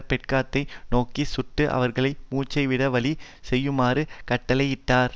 பெட்டகத்தை நோக்கி சுட்டு அவர்கள் மூச்சுவிட வழி செய்யுமாறு கட்டளையிட்டார்